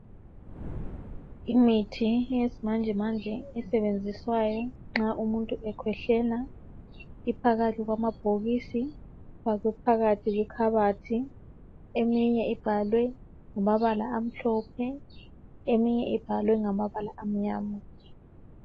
Imithi yesimanjemanje esebenziswayo nxa umuntu ekhwehlela iphakathi kwamabhokisi okuphakathi kwekhabathi. Eminye ibhalwe ngamabala amhlophe, eminye ibhalwe ngamabala amnyama.